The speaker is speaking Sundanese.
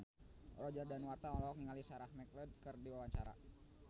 Roger Danuarta olohok ningali Sarah McLeod keur diwawancara